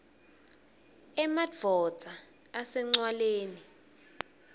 emadvodza ase ncwaleni